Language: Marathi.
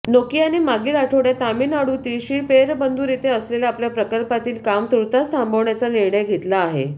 नोकियाने मागील आठवड्यात तामिळनाडूतील श्रीपेरंबदूर येथे असलेल्या आपल्या प्रकल्पातील काम तुर्तास थांबवण्याचा निर्णय घेतला आहे